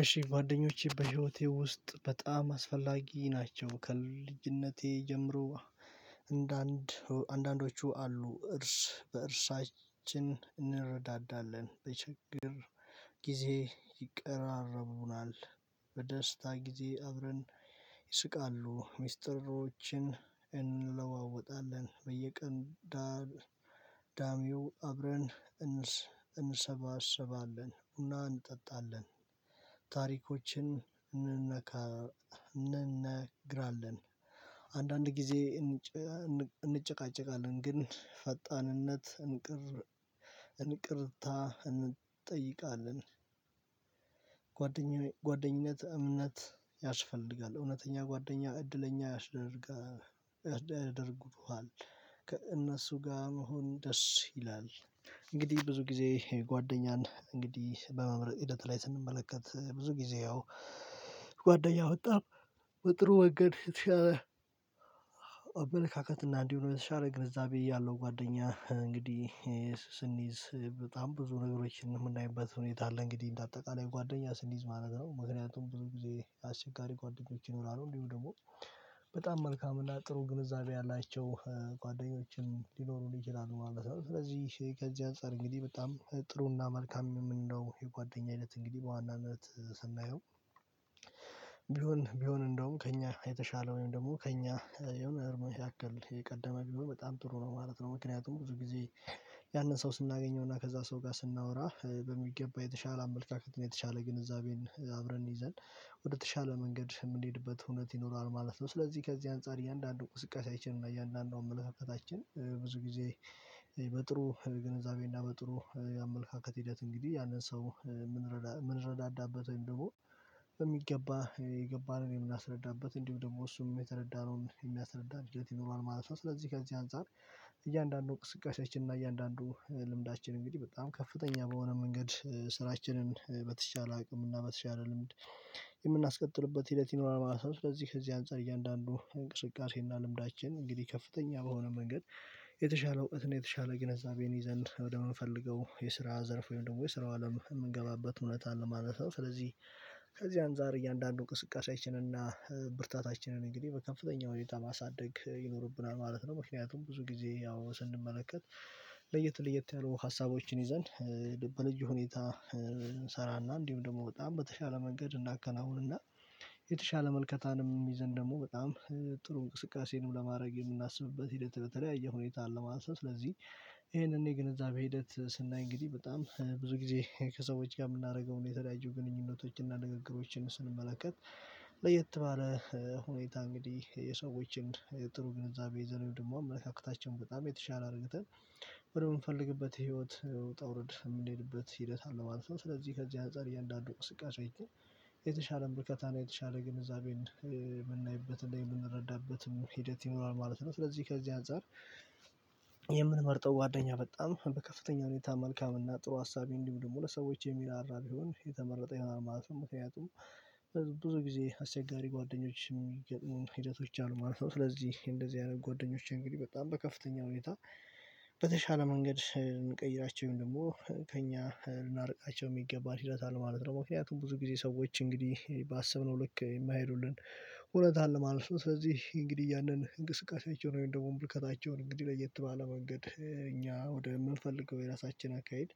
እሺ ጓደኞቼ በህይወቴ ውስጥ በጣም አስፈላጊ ናቸው። ከልጅነቴ ጀምሮ አንዳንድ አንዳንዶቹ አሉ እርስ በእርሳችን እንረዳዳለን በችግር ጊዜ ይቀራረቡናል። በደስታ ጊዜ አብረን ይስቃሉ። ሚስጥሮችን እንለዋወጣለን በየቀን ዳር። ዳሚው አብረን እንሰባሰባለን ቡና እንጠጣለን። ታሪኮችን እንነካ እንነግራለን። አንዳንድ ጊዜ እንጨቃጨቃለን ግን ፈጣንነት እንቅር እንቅርታ እንጠይቃለን። ጓደኝነት እምነት ያስፈልጋል። እውነተኛ ጓደኛ እድለኛ ያስደርጋ ያደርጉሀል። ከእነሱ ጋር መሆን ደስ ይላል። እንግዲህ ብዙ ጊዜ ጓደኛን እንግዲህ በመምረጥ ሂደት ላይ ስንመለከት ብዙ ጊዜ ያው ጓደኛ በጣም በጥሩ መንገድ የተሻለ አመለካከት እና እንዲሁም የተሻለ ግንዛቤ ያለው ጓደኛ እንግዲህ ስንይዝ በጣም ብዙ ነገሮችን የምናይበት ሁኔታ አለ። እንግዲህ እንደ አጠቃላይ ጓደኛ ስንይዝ ማለት ነው። ምክንያቱም ብዙ ጊዜ አስቸጋሪ ጓደኞች ይኖራሉ። እንዲሁም ደግሞ በጣም መልካም እና ጥሩ ግንዛቤ ያላቸው ጓደኞችን ሊኖሩን ይችችሉ። ስለዚህ ከዚህ አንፃር እንግዲህ በጣም ጥሩና መልካም የምንለው የጓደኛ አይነት እንግዲህ በዋናነት ስናየው። ቢሆን ቢሆን እንደውም ከእኛ የተሻለውን ወይም ደግሞ ከእኛ የሆነ ያክል የቀደመ ቢሆን በጣም ጥሩ ነው ማለት ነው። ምክንያቱም ብዙ ጊዜ ያንን ሰው ስናገኘውና ከዛ ሰው ጋር ስናወራ በሚገባ የተሻለ አመለካከትና የተሻለ ግንዛቤን አብረን ይዘን ወደተሻለ መንገድ የምንሄድበት እውነት ይኖራል ማለት ነው። ስለዚህ ከዚህ አንፃር እያንዳንዱን እንቅስቃሴያችን እና እያንዳንዱን አመለካከታችን ብዙ ጊዜ በጥሩ ግንዛቤና በጥሩ የአመለካከት ሂደት እንግዲህ ያንን ሰው የምንረዳዳበት ወይም ደግሞ በሚገባ የገባንን የምናስረዳበት እንዲሁም ደግሞ እሱም የተረዳነውን የሚያስረዳ ሂደት ይኖረዋል ማለት ነው። ስለዚህ ከዚህ አንፃር እያንዳንዱ እንስቃሴያችን እና እያንዳንዱ ልምዳችን እንግዲህ በጣም ከፍተኛ በሆነ መንገድ ስራችንን በተቻለ አቅም እና በተቻለ ልምድ የምናስቀጥልበት ሂደት ይኖራል ማለት ነው። ስለዚህ ከዚህ አንፃር እያንዳንዱ እንቅስቃሴና ልምዳችን እንግዲህ ከፍተኛ በሆነ መንገድ የተሻለው እህት ነው የተሻለ ግንዛቤን ይዘን ወደምንፈልገው የስራ ዘርፍ ወይም ደግሞ የስራው አለም የምንገባበት እውነት አለ ማለት ነው። ስለዚህ ከዚህ አንፃር እያንዳንዱን እንቅስቃሴያችን እና ብርታታችንን እንግዲህ በከፍተኛ ሁኔታ ማሳደግ ይኖርብናል ማለት ነው። ምክንያቱም ብዙ ጊዜ ያው ስንመለከት ለየት ለየት ያሉ ሀሳቦችን ይዘን በልዩ ሁኔታ እንሰራና እንዲሁም ደግሞ በጣም በተሻለ መንገድ እናከናውንና የተሻለ ምልከታንም ይዘን ደግሞ በጣም ጥሩ እንቅስቃሴንም ለማድረግ የምናስብበት ሂደት በተለያየ ሁኔታ አለ ማለት ነው። ስለዚህ ይሄንን የግንዛቤ ሂደት ስናይ እንግዲህ በጣም ብዙ ጊዜ ከሰዎች ጋር የምናደርገውን የተለያዩ ግንኙነቶችን እና ንግግሮችን ስንመለከት ለየት ባለ ሁኔታ እንግዲህ የሰዎችን ጥሩ ግንዛቤ ይዘን ወይም ደግሞ አመለካከታችን በጣም የተሻለ አርግተን ወደምንፈልግበት ህይወት ውጣ ውረድ የምንሄድበት ሂደት አለ ማለት ነው። ስለዚህ ከዚህ አንፃር እያንዳንዱ እንቅስቃሴ የተሻለ ምልከታና የተሻለ ግንዛቤን የምናይበትና የምንረዳበትም ሂደት ይኖራል ማለት ነው። ስለዚህ ከዚህ አንፃር የምንመርጠው ጓደኛ በጣም በከፍተኛ ሁኔታ መልካም እና ጥሩ አሳቢ እንዲሁም ደግሞ ለሰዎች የሚራራ ቢሆን የተመረጠ ይሆናል ማለት ነው። ምክንያቱም ብዙ ጊዜ አስቸጋሪ ጓደኞች የሚገጥሙን ሂደቶች አሉ ማለት ነው። ስለዚህ እንደዚህ አይነት ጓደኞቼ እንግዲህ በጣም በከፍተኛ ሁኔታ በተሻለ መንገድ እንቀይራቸው ወይም ደግሞ ከእኛ ልናርቃቸው የሚገባ ሂደት አለ ማለት ነው። ምክንያቱም ብዙ ጊዜ ሰዎች እንግዲህ ባሰብነው ልክ የማይሄዱልን እውነት አለ ማለት ነው። ስለዚህ እንግዲህ ያንን እንቅስቃሴያቸውን ወይም ደግሞ ምልከታቸውን እንግዲህ ለየት ባለ መንገድ እኛ ወደምንፈልገው የራሳችን አካሄድ